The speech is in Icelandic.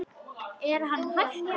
Er hann hættur?